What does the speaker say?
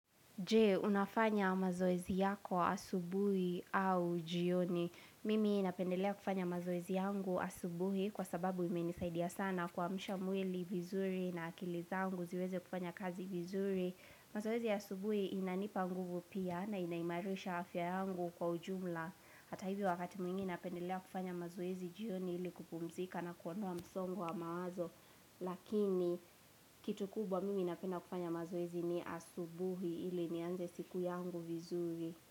Je?, Unafanya mazoezi yako asubuhi au jioni. Mimi napendelea kufanya mazoezi yangu asubuhi kwa sababu imenisaidia sana kwa msha mwili vizuri na akili zangu ziweze kufanya kazi vizuri. Mazoezi ya asubuhi inanipa nguvu pia na inaimarisha afya yangu kwa ujumla. Hata hivo wakati mwingine napendelea kufanya mazoezi jioni ili kupumzika na kuondoa msongo wa mawazo Lakini kitu kubwa mimi napenda kufanya mazoezi ni asubuhi ili nianze siku yangu vizuri.